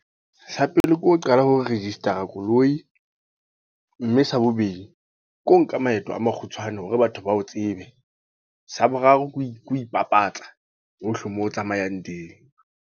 Sa pele ke ho qala hore register-a koloi. Mme sa bobedi, ke ho nka maeto a makgutshwane hore batho bao tsebe. Sa boraro ke ho ipapatsa, hohle moo o tsamayang teng.